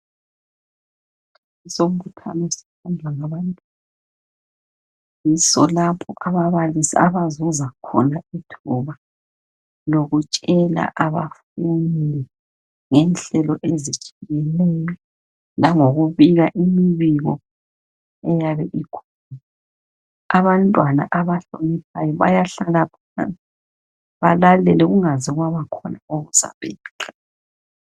Usombuthano osenzwa ngabantu yiso lapho Abazuza khona ithuba lokutshela abafundi ngenhlelo ezitshiyeneyo langokubika imibiko engabe ikhona abantwana abahloniphayo bayahlala phansi balahleke kungaze kwaba khona okuzaphambanisa